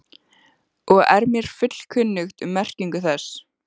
og er mér fullkunnugt um merkingu þess.